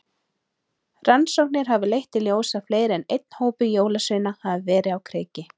Rannsóknir hafa leitt í ljós að fleiri en einn hópur jólasveina hafa verið á kreiki.